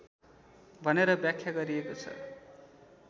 भनेर व्याख्या गरिएको छ